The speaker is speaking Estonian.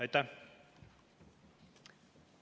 Aitäh!